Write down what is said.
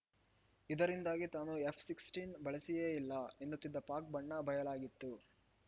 ಇದರಿಂದಾಗಿ ತಾನು ಎಫ್‌ ಹದಿನಾರು ಬಳಸಿಯೇ ಇಲ್ಲ ಎನ್ನುತ್ತಿದ್ದ ಪಾಕ್‌ ಬಣ್ಣ ಬಯಲಾಗಿತ್ತು